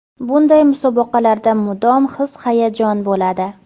Bunday musobaqalarda mudom his-hayajon bo‘ladi.